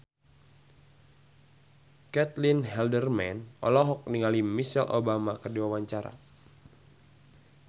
Caitlin Halderman olohok ningali Michelle Obama keur diwawancara